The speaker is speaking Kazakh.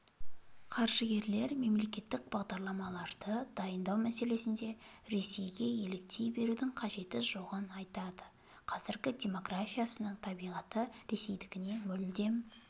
қаржыгерлер мемлекеттік бағдарламаларды дайындау мәселесінде ресейге еліктей берудің қажеті жоғын айтады қазақ демографиясының табиғаты ресейдікініе мүлдем